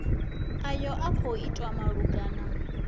ayo a khou itwa malugana